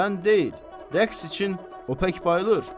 Mən deyil, rəqs üçün o pək bayılır.